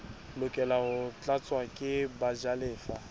lokela ho tlatswa ke bajalefa